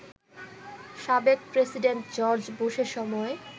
সাবেক president George বুশের সময়